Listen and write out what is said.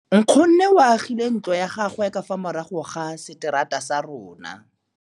Nkgonne o agile ntlo ya gagwe ka fa morago ga seterata sa rona.